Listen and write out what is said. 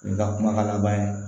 N ka kumakan laban ye